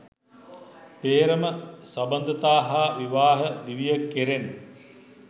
පේ්‍රම සබඳතා හා විවාහ දිවිය කෙරෙන්